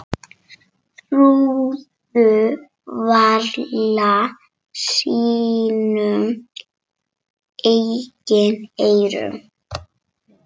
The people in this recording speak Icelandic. Trúðu varla sínum eigin eyrum.